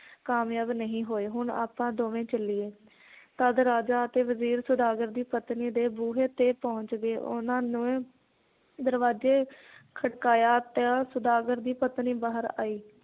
ਕਾਮਯਾਬ ਨਹੀਂ ਹੋਏ ਹੁਣ ਆਪਾਂ ਦੋਵੇ ਚੱਲੀਏ ਤੱਦ ਰਾਜਾ ਅਤੇ ਵਜ਼ੀਰ ਸੌਦਾਗਰ ਦੀ ਪਤਨੀ ਦੇ ਬੂਹੇ ਤੇ ਪਹੁੰਚ ਗਏ ਉਹਨਾਂ ਨੇ ਦਰਵਾਜੇ ਖੜਕਾਇਆ ਤਾਂ ਸੌਦਾਗਰ ਦੀ ਪਤਨੀ ਬਾਹਰ ਆਈ